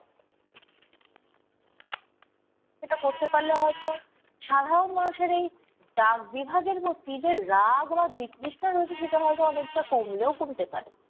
যেটা করতে পারলে হয়তো সাধারণ মানুষের এই ডাক বিভাগের প্রতি যে রাগ বা বিতৃষ্না রয়েছে সেটা হয়তো অনেকটা কমলেও কমতে পারে।